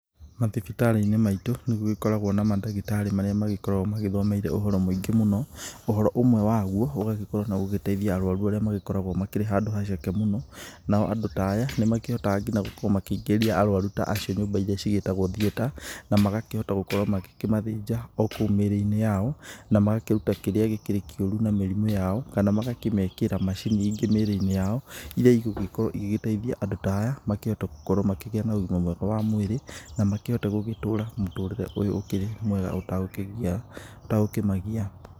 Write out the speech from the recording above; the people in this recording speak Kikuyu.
Mathibitarĩ-inĩ maitũ, nĩ gũgĩkoragwo na madagĩtarĩ marĩa magĩkoragwo magĩthomeire ũhoro mwingĩ mũno. Ũhoro ũmwe waguo, ũgagikorwo na ũgĩteithia arũaru arĩa magĩkoragwo makĩrĩ handũ haceke mũno, nao andũ ta aya nĩ makĩhotaga ngina gũkorwo makĩingĩria arũaru ta acio nyũmba iria cigĩtagwo theater na magakĩhota gũkorwo magĩkĩmathĩnja o kũũ mĩĩrĩ-inĩ yao na magakĩruta kĩrĩa gĩkĩrĩ kĩũru na mĩrimũ yao kana magakĩmekĩra macini ingĩ mĩĩrĩ-inĩ yao iria igũgĩkorwo igĩgĩteithia andũ ta aya makĩhote gũkorwo na ũgima mwega wa mwĩrĩ, na makĩhote gũgĩtũra ũtũrĩre ũyũ ũkĩrĩ mwega ũtegũkĩmagia.